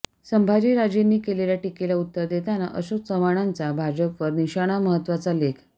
संभाजीराजेंनी केलेल्या टीकेला उत्तर देताना अशोक चव्हाणांचा भाजपवर निशाणा महत्तवाचा लेख